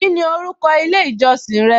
Kíni orúkọ ilé ìjọsìn rẹ?